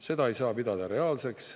Seda ei saa pidada reaalseks.